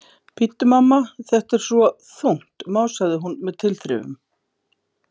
Bíddu, mamma, þetta er svo þungt, másaði hún með tilþrifum.